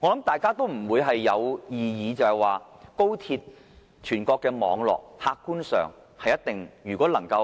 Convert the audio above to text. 我想大家不會有異議的是，高鐵這全國的網絡，客觀上如果能在